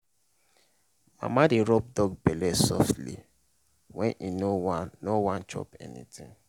mama dey rub dog belle softly when e no wan no wan chop anything.